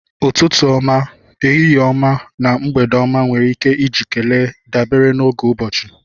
Ututu ọma, ehihie ọma na mgbede ọma nwere ike iji kelee dabere n'oge ụbọchị